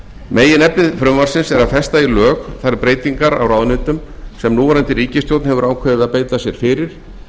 meginefni frumvarpsins er að festa í lög þær breytingar á ráðuneytum sem núverandi ríkisstjórn hefur ákveðið að beita sér fyrir